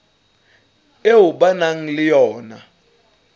eo ba nang le yona